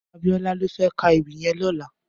Abiola lò fè kà éwì yèn lòlá